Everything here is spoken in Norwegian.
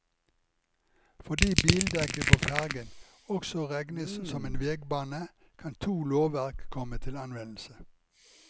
Fordi bildekket på fergen også regnes som en vegbane kan to lovverk komme til anvendelse.